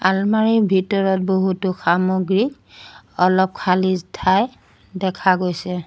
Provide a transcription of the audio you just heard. আলমাৰিৰ ভিতৰত বহুতো সামগ্ৰী অলপ খালি ঠাই দেখা গৈছে।